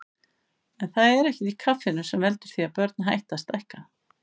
En það er ekkert í kaffinu sem veldur því að börn hætti að stækka.